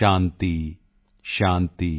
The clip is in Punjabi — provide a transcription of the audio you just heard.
ਸ਼ਾਂਤੀ ਸ਼ਾਂਤੀ॥